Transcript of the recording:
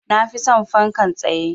Na fi son fankan tsaye.